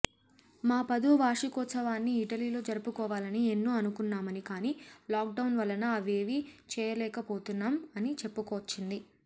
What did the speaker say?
మా పదో వార్షికోత్సవాన్ని ఇటలీలో జరుపుకోవాలని ఎన్నో అనుకున్నామని కానీ లాక్ డౌన్ వలన అవేమీ చేయలేకపోతున్నాం అని చెప్పుకొచ్చింది